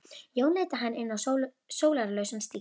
Leiðin liggur að Skaftá sem rennur straumhörð til sjávar.